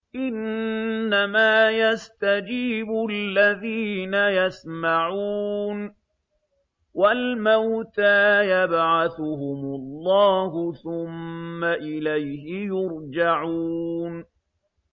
۞ إِنَّمَا يَسْتَجِيبُ الَّذِينَ يَسْمَعُونَ ۘ وَالْمَوْتَىٰ يَبْعَثُهُمُ اللَّهُ ثُمَّ إِلَيْهِ يُرْجَعُونَ